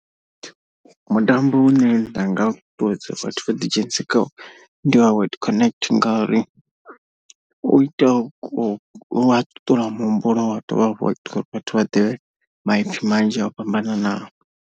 Mutambo une nda nga ṱuṱuwedza vhathu vha ḓi dzhenisi kwawo ndi wa word connect ngauri u ita ku wa ṱuṱula muhumbulo wa dovha hafhu vhathu vha ḓivhe maipfi manzhi o fhambananaho.